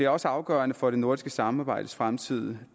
også afgørende for det nordiske samarbejdes fremtid